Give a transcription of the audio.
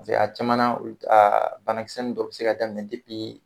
Paseke a caman a banakisɛ nunnu dɔ be se ka daminɛ